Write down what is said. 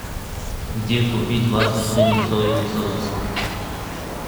где купить в астрахани соевый соус